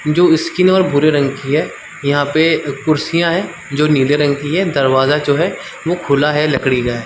जो स्किन और भूरे रंग की है यहाँ पे कुर्सीयाँ है जो नीले रंग की है दरवाज़ा जो है वो खुला है लकड़ी का हैं ।